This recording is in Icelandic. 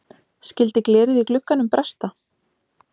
Skyldi glerið í glugganum bresta?